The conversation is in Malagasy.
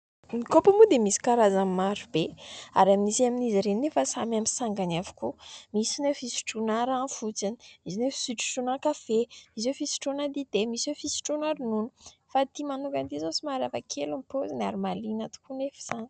Ny kaopy moa dia misy karazany maro be ary misy amin' izy ireny nefa samy amin' ny sangany avokoa : misy ireo fisotroana rano fotsiny, misy hoe fisotrosotroana kafe, misy hoe fisotroana dite, misy hoe fisotroana ronono fa ity manokana izao somary hafa kely ny pôziny ary mahaliana tokoa anefa izany.